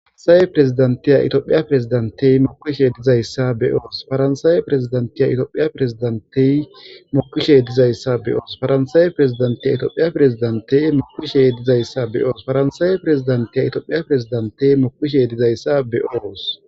Faranisaye firisidaniteya itopheya firisidanitey mokishe dizayisa be'os faranisaye firisidaniteya itopheya firisidanitey mokishe dizayisa dizayisa be'os faranisaye firisidaniteya itopheya firisidanitey mokishe dizayisa be'os faranisaye firisidaniteya itopheya firisidanitey mokishe dizayisa be'os